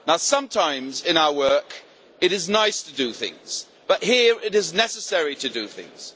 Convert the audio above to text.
Sometimes in our work it is nice to do things, but here it is necessary to do things.